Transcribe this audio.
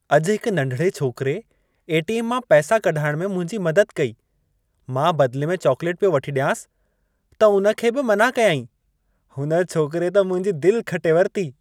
अॼु हिक नंढिड़े छोकरे ए.टी.एम. मां पैसां कढाइण में मुंहिंजी मदद कई। मां बदिले में चॉकलेटु पियो वठी ॾियांसि, त उन खे बि मनाअ कयाईं। हुन छोकरे त मुंहिंजी दिलि खटे वरिती।